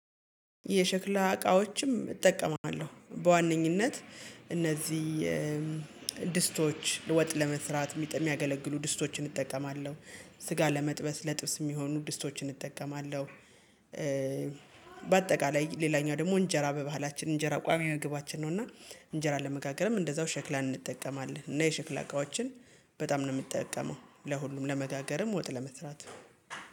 የሸክላ እቃዎችም እጠቀማለሁ በዋነኝነት እነዚህ ድስቶች ወጥ ለመስራት እሚያገለግሉ ድስቶችን እጠቀማለሁ ስጋ ለመጥበስ ለጥብስ የሚሆኑ ድስቶችን እጠቀማለሁ። በአጠቃላይ ሌላኛው ደግሞ እንጀራ በባህላችን እንጀራ ቋሚ መግባችን ነው እና እንጀራ ለመጋገርም እንደዛው ሸክላን እንጠቀማለን እና የሸክላ እቃዎችን በጣም ነው እምጠቀመው ለሁሉም ለመጋገርም ወጥ ለመስራት